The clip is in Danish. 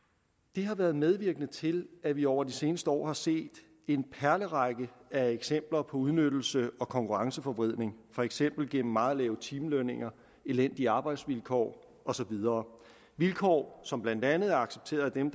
det har været medvirkende til at vi over de seneste år har set en perlerække af eksempler på udnyttelse og konkurrenceforvridning for eksempel gennem meget lave timelønninger elendige arbejdsvilkår og så videre vilkår som blandt andet er accepteret af dem